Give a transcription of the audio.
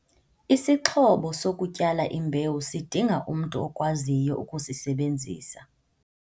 Isixhobo sokutyala imbewu sidinga umntu okwaziyo ukusisebenzisa.